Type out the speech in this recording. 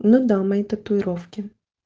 ну да мои татуировки